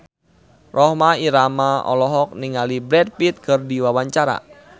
Rhoma Irama olohok ningali Brad Pitt keur diwawancara